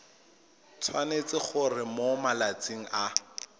tshwanetse gore mo malatsing a